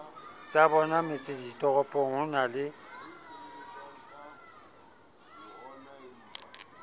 tsabona metseditoropong ho na le